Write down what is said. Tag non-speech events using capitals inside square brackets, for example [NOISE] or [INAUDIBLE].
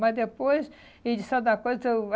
Mas depois ele disse. [UNINTELLIGIBLE]